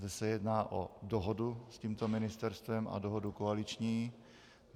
Zde se jedná o dohodu s tímto ministerstvem a dohodu koaliční.